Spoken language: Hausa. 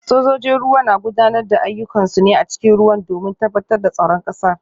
Sojojin ruwa na gudanar da ayyukansu ne a cikin ruwa domin tabbatar da tsaron kasar